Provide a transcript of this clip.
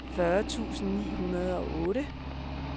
fyrre tusind ni hundrede og otte